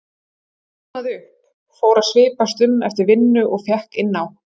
en flosnaði upp, fór að svipast um eftir vinnu og fékk inni á